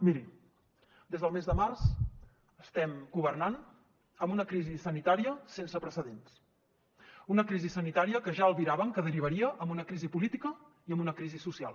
miri des del mes de març estem governant amb una crisi sanitària sense precedents una crisi sanitària que ja albiràvem que derivaria en una crisi política i en una crisi social